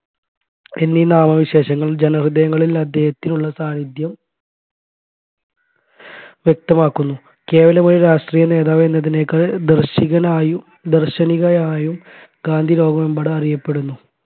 എന്നീ നാമവിശേഷണങ്ങൾ ജനഹൃദയങ്ങളിൽ അദ്ദേഹത്തിനുള്ള സാന്നിധ്യം വ്യക്തമാക്കുന്നു കേവലം ഒരു രാഷ്ട്രീയ നേതാവ് എന്നതിനേക്കാൾ ദർശികനായും ദർശനികായയും ഗാന്ധി ലോകമെമ്പാടും അറിയപ്പെടുന്നു